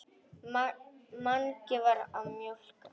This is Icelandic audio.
Mangi var að mjólka.